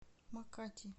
макати